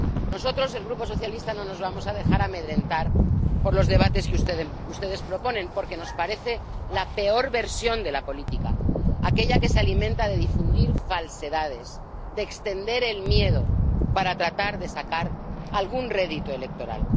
Nosotros, el Grupo Socialista, no nos vamos a dejar amedrentar por los debates que ustedes proponen, porque nos parecen la peor versión de la política, aquella que se alimenta de difundir falsedades, de extender el miedo para tratar de sacar algún rédito electoral.